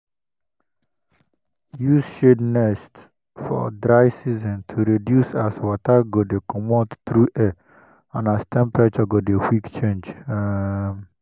use shade nest for dry season to reduce as water go de comot through air and as temperature go de quick change um